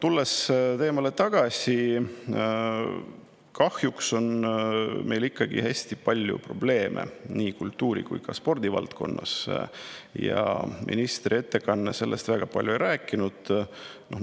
Tulles teema juurde tagasi: kahjuks on meil nii kultuuri‑ kui ka spordivaldkonnas ikkagi hästi palju probleeme, aga ministri ettekanne neist väga palju ei rääkinud.